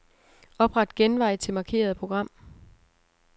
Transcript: Opret genvej til markerede program.